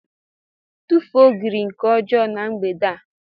tufuo ogiri nke ọjọọ na mgbede a